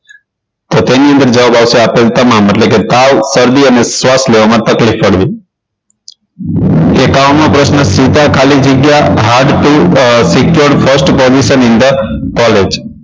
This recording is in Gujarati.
તો તેની અંદર જવાબ આવશે આપેલ તમામ એટલે કે તાવ શરદી અને શ્વાસ લેવામાં તકલીફ પડવી એકાવન મો પ્રશ્ન સ્મિતા ખાલી જગ્યા hard secure first position in the college